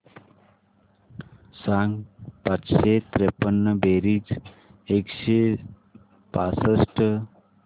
सांग पाचशे त्रेपन्न बेरीज एकशे पासष्ट